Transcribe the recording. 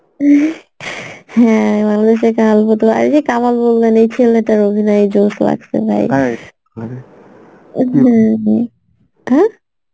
হ্যাঁ বাংলাদেশে এই ছেলেটার অভিনয় জোশ লাগসে ভাই হম হম হ্যাঁ?